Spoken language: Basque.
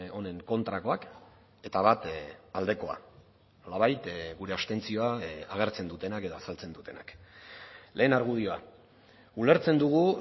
honen kontrakoak eta bat aldekoa nolabait gure abstentzioa agertzen dutenak edo azaltzen dutenak lehen argudioa ulertzen dugu